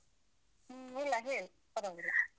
ಹು. ಇಲ್ಲ ಹೇಳು, ಪರ್ವಾಗಿಲ್ಲ.